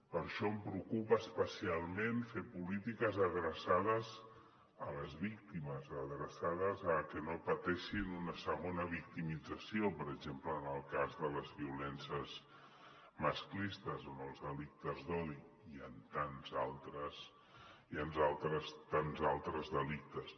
per això em preocupa especialment fer polítiques adreçades a les víctimes adreçades a que no pateixin una segona victimització per exemple en el cas de les violències masclistes o en els delictes d’odi i en tants altres delictes